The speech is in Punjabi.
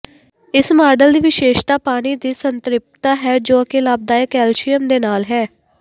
ਇਸ ਮਾਡਲ ਦੀ ਵਿਸ਼ੇਸ਼ਤਾ ਪਾਣੀ ਦੀ ਸੰਤ੍ਰਿਪਤਾ ਹੈ ਜੋ ਕਿ ਲਾਭਦਾਇਕ ਕੈਲਸੀਅਮ ਦੇ ਨਾਲ ਹੈ